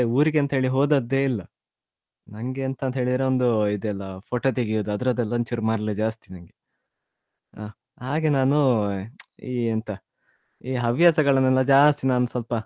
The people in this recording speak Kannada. ಊರಿಗಂತೇಳಿ ಹೋದದ್ದೇ ಇಲ್ಲ ನಂಗೆ ಎಂತ ಅಂತ ಹೇಳಿದ್ರೆ ಒಂದು ಇದೇಯಲ್ಲ photo ತೆಗಿಯುದು ಅದ್ರದೆಲ್ಲ ಒಂಚೂರು ಮರ್ಲು ಜಾಸ್ತಿ ನಂಗೆ ಹಾ ಹಾಗೆ ನಾನು ಈ ಎಂತ ಈ ಹವ್ಯಸಗಳನ್ನು ಜಾಸ್ತಿ ನಾನ್ ಸ್ವಲ್ಪ.